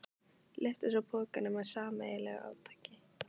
Lyftu svo pokanum með sameiginlegu átaki.